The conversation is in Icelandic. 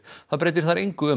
breytir þar engu